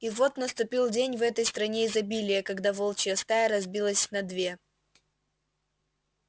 и вот наступил день в этой стране изобилия когда волчья стая разбилась на две